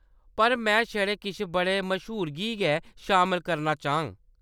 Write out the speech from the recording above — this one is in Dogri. पर, में छड़े किश बड़े मश्हूरें गी गै शामल करना चाह्‌ङ।